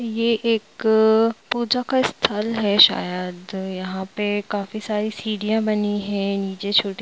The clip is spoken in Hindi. यह एक पूजा का स्थल है शायद यहां पर काफी सारे सीढ़ियां बनी है नीचे छोटे--